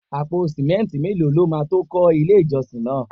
Àpò simẹnti mélòó lọ ma tó kọ ilé ìjọsìn náà?